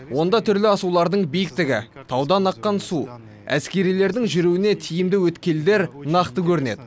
онда түрлі асулардың биіктігі таудан аққан су әскерилердің жүруіне тиімді өткелдер нақты көрінеді